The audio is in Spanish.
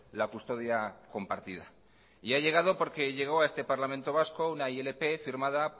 la custodia compartida y ha llegado porque llegó a este parlamento vasco una ilp firmada